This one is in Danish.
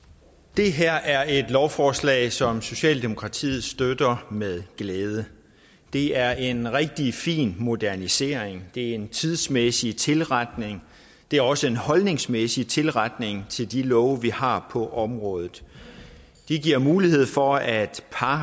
det her er et lovforslag som socialdemokratiet støtter med glæde det er en rigtig fin modernisering det er en tidsmæssig tilretning det er også en holdningsmæssig tilretning til de love vi har på området det giver mulighed for at par